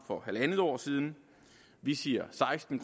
for halvandet år siden vi siger seksten